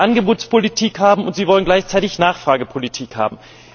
Sie wollen Angebotspolitik haben, und Sie wollen gleichzeitig Nachfragepolitik haben.